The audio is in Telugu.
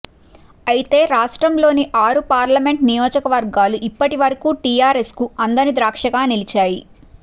అయితే రాష్ట్రంలోని ఆరు పార్లమెంట్ నియోజకవర్గాలు ఇప్పటివరకు టీఆర్ ఎస్కు అందని ద్రాక్షగా నిలిచాయి